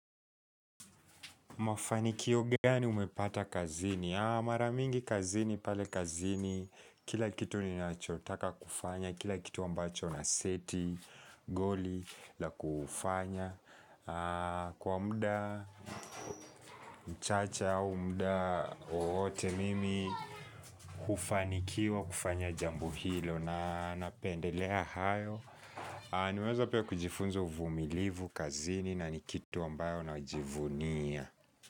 Mafanikio gani umepata kazini? Mara mingi kazini pale kazini, kila kitu ninachotaka kufanya, kila kitu ambacho naseti, goli, la kufanya. Kwa muda mchache au muda wowote mimi, kufanikiwa kufanya jambo hilo na napendelea hayo. Nimeweza pia kujifunza uvumilivu kazini na ni kitu ambayo najivunia.